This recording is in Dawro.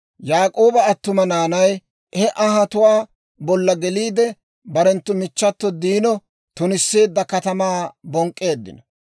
Yaak'ooba attuma naanay he anhatuwaa bolla geliide, barenttu michchato Diino tunisseedda katamaa bonk'k'eeddino.